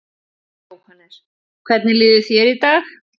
Jóhannes: En hvernig líður þér í dag?